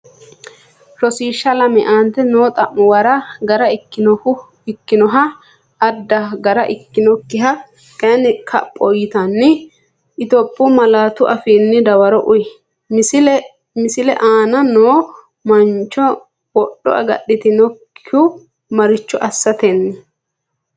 Rosiishsha Lame Aante noo xa’muwara gara ikkinoha adda gara ikkinokkiha kayinni kapho yitinanni Itophiyu malaatu afiinni dawaro uuyye, Misle aana noo mancho wodho agadhitinokkihu maricho assaten?